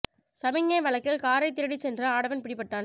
சமிக்ஞை விளக்கில் காரை திருடிச் சென்ற ஆடவன் பிடிபட்டான்